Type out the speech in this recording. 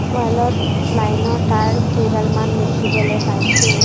ৱালত লাইনৰ তাঁৰ কেইডালমান দেখিবলৈ পাইছোঁ।